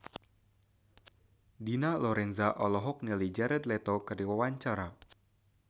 Dina Lorenza olohok ningali Jared Leto keur diwawancara